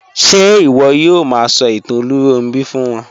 Ṣe iwọ yoo ma sọ itan Olunronbi fun wọn?